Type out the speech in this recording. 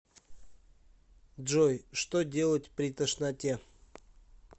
джой что делать при тошноте